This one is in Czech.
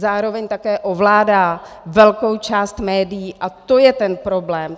Zároveň také ovládá velkou část médií a to je ten problém.